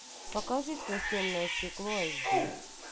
покажи сквозь темное стекло айч ди